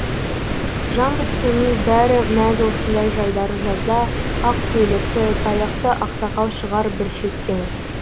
жан біткеннің бәрі мәз осындай жайдары жазда ақ көйлекті таяқты аксақал шығар бір шеттен